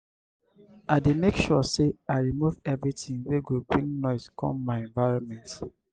i dey make sure sey i remove everytin wey go bring noise come my environment.